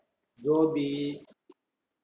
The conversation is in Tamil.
கோபி